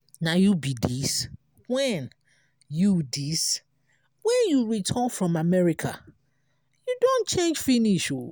na you be dis? wen you dis? wen you return from america? you don change finish.